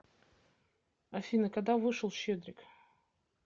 афина когда вышел щедрик